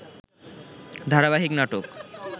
ধারাবাহিক নাটক